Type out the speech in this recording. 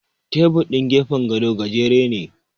Tebur ɗin gefen gado gajere ne.